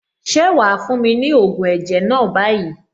Ṣé wàá fún mi ní ògùn ẹ̀jẹ̀ náà báyìí?